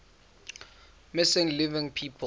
missing living people